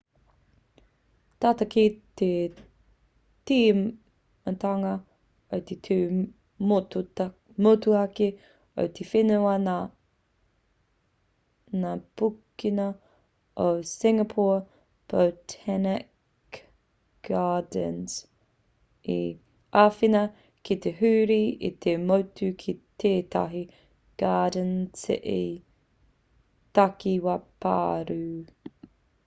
tata ki te tīmatanga o te tū motuhake o te whenua nā ngā pukenga o singapore botanic gardens i āwhina ki te huri i te motu ki tetahi garden city takiwā pārū